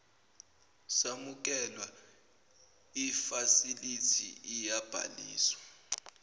samukelwa ifasilithi iyabhaliswa